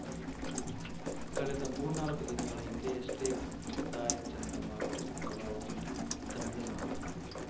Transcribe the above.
ಕಳೆದ ಮೂರ್ನಾಲ್ಕು ದಿನಗಳ ಹಿಂದೆಯಷ್ಟೇ ಪೆಥಾಯ್‌ ಚಂಡಮಾರುತದ ಪ್ರಭಾವದಿಂದ ತಮಿಳುನಾಡು